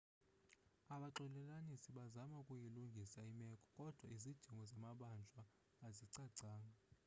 abaxolelanisi bazama ukuyilungisa imeko kodwa izidingo zamabanjwa azicacanga